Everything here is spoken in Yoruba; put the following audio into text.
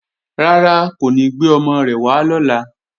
Rárá, kò ní gbé ọmọ rẹ̀ wá lọ́la